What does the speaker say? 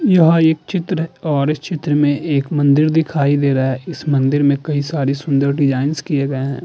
यह एक चित्र और इस चित्र में एक मंदिर दिखाई दे रहा है। इस मंदिर में कई सारी सुंदर डिजाइंस किए गए हैं।